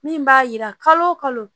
Min b'a yira kalo o kalo